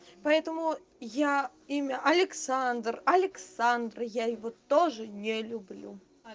поэтому я имя александр александр я его тоже не люблю